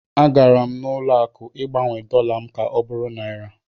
A gara m ụlọ akụ Ịgbanwe dọla m ka ọ bụrụ naịra.